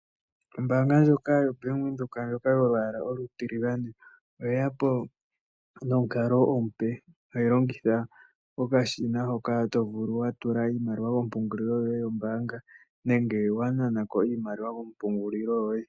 Ombaanga ndjoka yobank Windhoek ndjoka yolwaala olutiligane oyeya po nomukalo omupe uuna to longitha okashina hoka to vulu okutula ompungulilo yoye yombaanga menge wa naana ko iimaliwa kompungululo yoye.